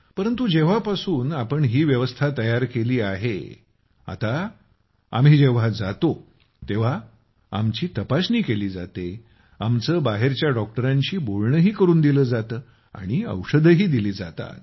परंतु जेव्हापासून आपण ही व्यवस्था तयार केली आहे आता आम्ही जेव्हा जातो तेव्हा आमची तपासणी केली जाते आमची बाहेरच्या डॉक्टरांशी बोलणंही करून दिलं जातं आणि औषधंही दिली जातात